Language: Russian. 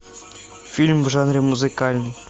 фильм в жанре музыкальный